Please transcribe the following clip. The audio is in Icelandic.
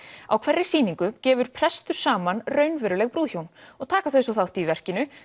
á hverri sýningu gefur prestur saman raunveruleg brúðhjón og taka þau svo þátt í verkinu